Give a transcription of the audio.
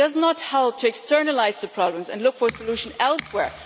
It does not help to externalise the problems and look for solutions elsewhere.